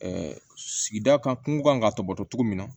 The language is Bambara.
sigida kan kungo kan ka tɔbɔtɔ cogo min na